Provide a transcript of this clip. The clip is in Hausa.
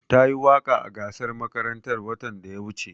Tayi waƙa a gasar makarantar watan da ya wuce.